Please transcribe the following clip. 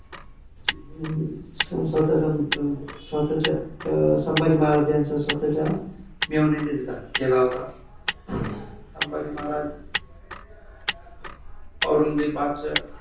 अं स्वतःच्या अं स्वतःचा अं संभाजी महाराजांच्या स्वतःच्या मेव्हण्याने घात केला होता. संभाजी महाराज औरंगजेब बादशाह अं